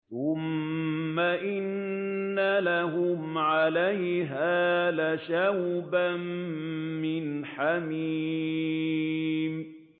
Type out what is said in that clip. ثُمَّ إِنَّ لَهُمْ عَلَيْهَا لَشَوْبًا مِّنْ حَمِيمٍ